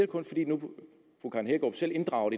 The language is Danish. kun fordi fru karen hækkerup selv inddrager